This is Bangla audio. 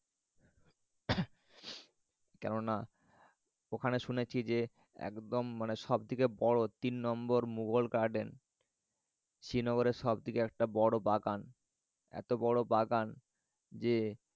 কেননা ওখানে শুনেছি যে একদম মানে সব থেকে বড় তিন নম্বর মুঘল garden শ্রিনগরের সব থেকে একটা বড় বাগান। এত বড় বাগান যে